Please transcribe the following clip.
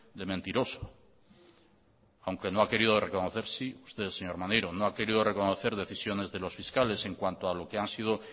de mentiroso aunque no ha querido reconocer sí usted señor maneiro no ha querido reconocer decisiones de los fiscales en cuanto a lo que han sido